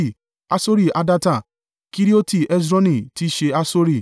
Hasori Hadatta, Kerioti Hesroni (tí í ṣe Hasori),